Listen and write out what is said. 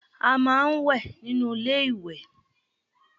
We take our bath inside bathroom